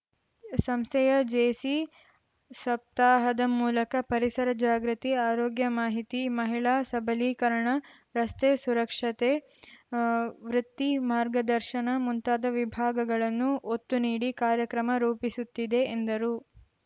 ಸಂಸ್ಥೆಯ ಜೇಸಿ ಸಪ್ತಾಹದ ಮೂಲಕ ಪರಿಸರ ಜಾಗೃತಿ ಆರೋಗ್ಯ ಮಾಹಿತಿ ಮಹಿಳಾ ಸಬಲೀಕರಣ ರಸ್ತೆ ಸುರಕ್ಷತೆ ವೃತ್ತಿ ಮಾರ್ಗದರ್ಶನ ಮುಂತಾದ ವಿಭಾಗಗಳನ್ನು ಒತ್ತು ನೀಡಿ ಕಾರ್ಯಕ್ರಮ ರೂಪಿಸುತ್ತಿದೆ ಎಂದರು